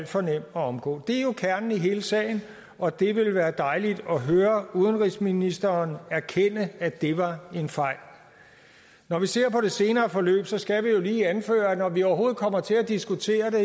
for nem at omgå det er jo kernen i hele sagen og det ville være dejligt at høre udenrigsministeren erkende at det var en fejl når vi ser på det senere forløb skal vi jo lige anføre at når vi overhovedet kommer til at diskutere